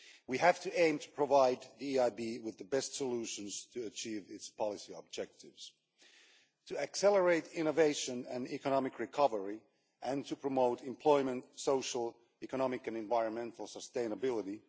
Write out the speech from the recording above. We have to aim to provide the EIB with the best solutions to achieve its policy objectives, to accelerate innovation and economic recovery and to promote employment, social, economic and environmental sustainability.